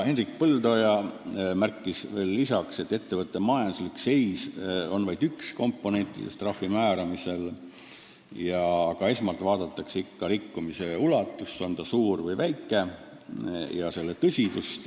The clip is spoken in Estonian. Hendrik Põldoja märkis veel lisaks, et ettevõtte majanduslik seis on vaid üks komponentidest trahvi määramisel ja eelkõige vaadatakse ikka rikkumise ulatust – on see suur või väike – ja selle tõsidust.